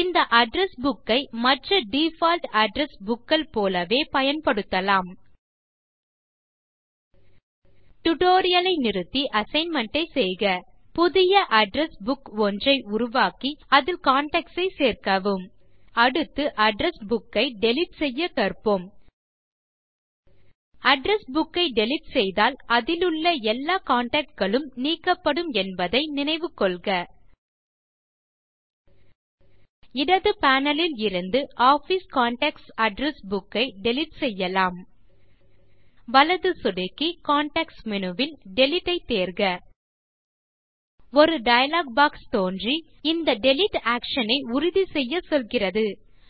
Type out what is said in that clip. இந்த address book ஐ மற்ற டிஃபால்ட் அட்ரெஸ் bookகள் போலவே பயன்படுத்தலாம் டியூட்டோரியல் ஐ நிறுத்தி அசைன்மென்ட் ஐ செய்க புதிய அட்ரெஸ் புக் ஒன்றை உருவாக்கி அதில் கான்டாக்ட்ஸ் சேர்க்கவும் அடுத்து அட்ரெஸ் புக் ஐ டிலீட் செய்ய கற்போம் அட்ரெஸ் புக் ஐ டிலீட் செய்தால் அதிலுள்ள எல்லா கான்டாக்ட் களும் நீக்கப்படும் என்பதை நினைவு கொள்க இடது பேனல் இலிருந்து ஆஃபிஸ் கான்டாக்ட்ஸ் அட்ரெஸ் புக் ஐ டிலீட் செய்யலாம் வலது சொடுக்கி கான்டெக்ஸ்ட் மேனு வில் டிலீட் ஐ தேர்க ஒரு டயலாக் பாக்ஸ் தோன்றி இந்த டிலீட் ஆக்ஷன் ஐ உறுதிசெய்யச் சொல்லுகிறது